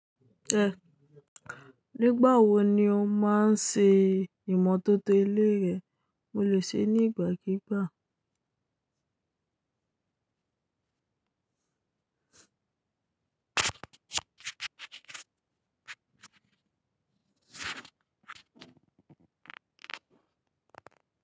Nígbà wo ni o máa ń ṣe ìmọ́tótó ilé rẹ? Mo lè ṣe é ní ìgbàkígbà.